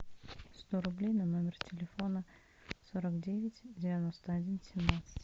сто рублей на номер телефона сорок девять девяносто один семнадцать